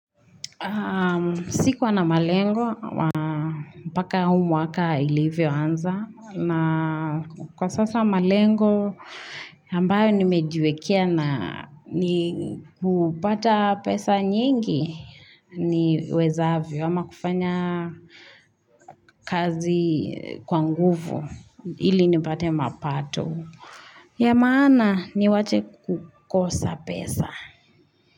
Sikuwa na malengo, mpaka huu mwaka ilivyo anza na kwa sasa malengo ambayo nimejiwekea na ni kupata pesa nyingi niwezavyo ama kufanya kazi kwa nguvu ili nipate mapato. Ya manaa niache kukosa pesa.